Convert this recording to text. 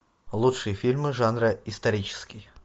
лучшие фильмы жанра исторический